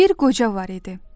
Bir qoca var idi.